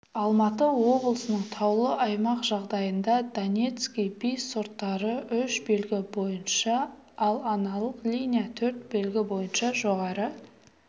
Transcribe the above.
алматы облысының таулы аймақ жағдайында донецкий би сорттары үш белгі бойынша ал аналық линия төрт белгі бойынша жоғары